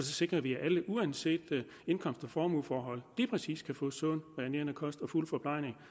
sikrer vi at alle uanset indkomst og formueforhold lige præcis kan få sund og nærende kost og fuld forplejning